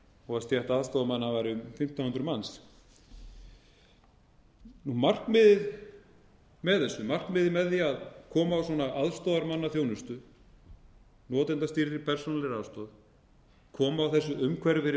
og að stétt aðstoðarmanna væri um fimmtán hundruð manns markmiðið með því að koma á svona aðstoðarmannaþjónustu notendastýrðri persónulegri aðstoð koma á þessu umhverfi fyrir